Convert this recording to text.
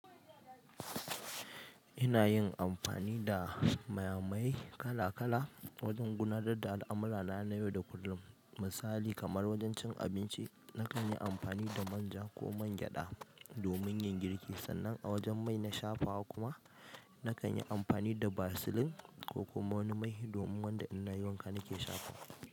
Ina yin amfani da mayamaye kala kala wajen gudanar da al'amurana na yau da kullum. Misali kamar wajen cin abinci, nakan yi amfani da manja ko man gyaɗa domin yin girki, sannan a wajen mai na shafawa kuma nakan yi amfani da vasilin ko kuma wani mai domin wanda inna yi wanka nake shafawa.